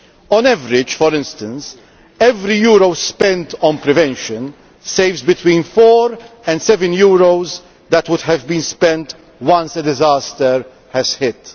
On average, for instance, every euro spent on prevention saves between four and seven euros that would have been spent once a disaster has